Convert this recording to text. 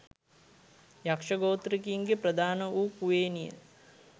යක්‍ෂ ගෝත්‍රිකයින්ගේ ප්‍රධාන වු කුවේණිය